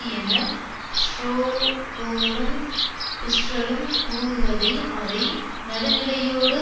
என ஷ்ரோடோரும் பிஸ்ரரும் கூறுவதை அதை நடுநிலையோடு